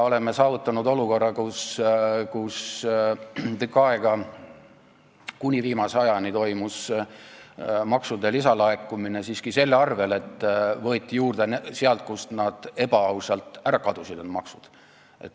Oleme saavutanud olukorra, kus tükk aega, kuni viimase ajani, toimus maksude lisalaekumine siiski selle tõttu, et võeti juurde sealt, kust need maksud ebaausalt olid ära kadunud.